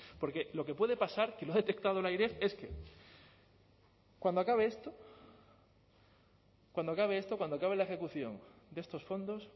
porque lo que puede pasar que lo ha detectado el airef es que cuando acabe esto cuando acabe la ejecución de estos fondos